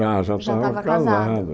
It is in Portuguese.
Já, já estava casado. Já estava casado